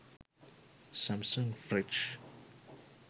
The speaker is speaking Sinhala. samsung fridge